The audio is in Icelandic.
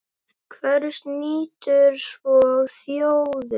Hvers nýtur svo þjóðin?